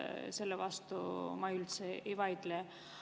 Selle vastu ma ei vaidle üldse.